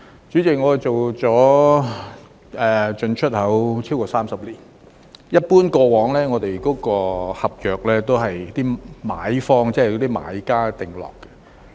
主席，我從事進出口超過30年，過往我們的合約一般也是由買方、買家訂立。